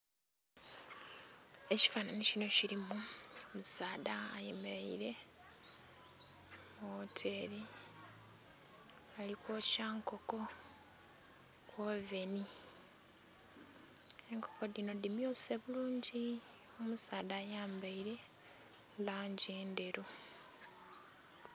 Ekifanhanhi kino kilimu omusaadha ayemeleile mu wooteri, ali kwokya nkoko mu woveni. Enkoko dhino dhimyuse bulungi. Omusaadha ayambaile langi endheru.